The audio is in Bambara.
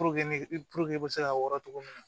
Puruke ne i bɛ se k'a wɔrɔ cogo min na